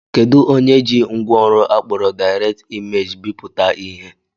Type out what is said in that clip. Kedụ onye ji ngwaọrụ akpọrọ Direct Image bipụta ihe?